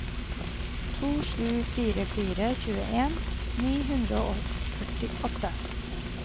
to sju fire fire tjueen ni hundre og førtiåtte